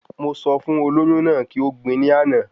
Mo sọ fún olóyún náà kí o gbin ní àná